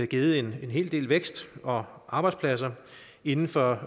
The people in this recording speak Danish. givet en hel del vækst og arbejdspladser inden for